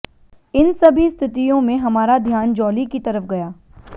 इन सभी स्थितियों में हमारा ध्यान जॉली की तरफ गया